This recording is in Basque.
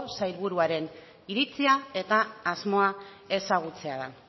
sailburuaren iritzia eta asmoa ezagutzea da